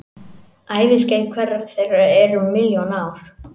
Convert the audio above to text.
Æviskeið hverrar þeirra er um milljón ár.